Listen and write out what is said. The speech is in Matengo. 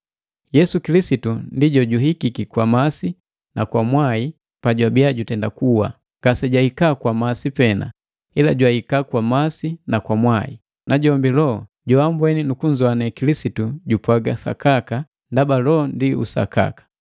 Yesu Kilisitu ndi jojuhikiki kwa masi na kwa mwai pajabiya jutenda kuwa. Ngasejahika kwa masi pena, ila jwahika kwa masi na kwa mwai. Najombi Loho joambweni nu kunzowane Kilisitu jupwaga sakaka, ndaba Loho ndi usakaka.